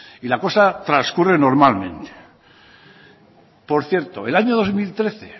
y la cosa transcurre normalmente por cierto el año dos mil trece